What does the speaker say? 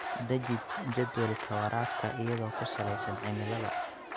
Deji jadwalka waraabka iyadoo ku saleysan cimilada.